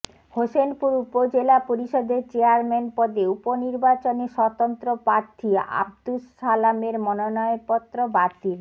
হোসেনপুর উপজেলা পরিষদের চেয়ারম্যান পদে উপনির্বাচনে স্বতন্ত্র প্রার্থী আবদুস সালামের মনোনয়নপত্র বাতিল